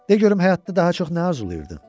De görüm həyatda daha çox nə arzulayırdın?